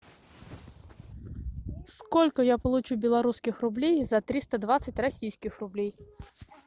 сколько я получу белорусских рублей за триста двадцать российских рублей